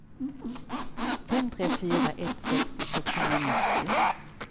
fem tre fyra ett sextio sexhundranittio